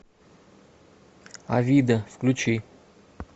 авида включи